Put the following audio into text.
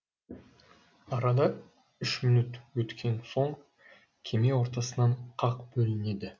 арада үш минут өткен соң кеме ортасынан қақ бөлінеді